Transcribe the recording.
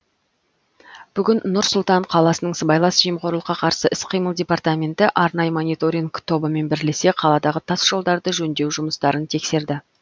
бүгін нұр сұлтан қаласының сыбайлас жемқорлыққа қарсы іс қимыл департаменті арнайы мониторинг тобымен бірлесе қаладағы тас жолдарды жөндеу жұмыстарын тексерді